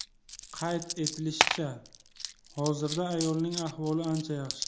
Qayd etilishicha, hozirda ayolning ahvoli ancha yaxshi.